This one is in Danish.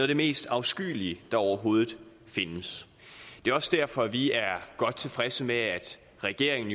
det mest afskyelige der overhovedet findes det er også derfor at vi er godt tilfredse med at regeringen